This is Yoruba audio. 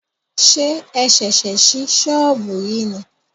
Ṣé o ṣẹ̀ṣẹ̀ sí sọ́ọ̀bù yìí ni?